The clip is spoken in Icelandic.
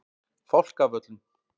Fálkavöllum